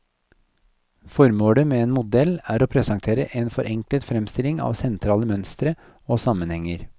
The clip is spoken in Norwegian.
Formålet med en modell er å presentere en forenklet fremstilling av sentrale mønstre og sammenhenger.